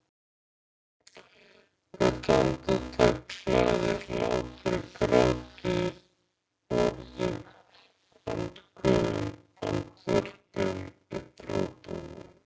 Hvert andartak hlaðið hlátri gráti orðum andköfum andvörpum upphrópunum.